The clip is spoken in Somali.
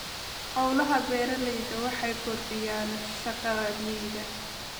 Hawlaha beeralayda waxay kordhiyaan shaqada miyiga.